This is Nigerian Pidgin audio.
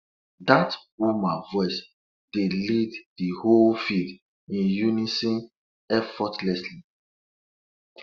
dat woman voice dey lead de whole field in unison effortlessly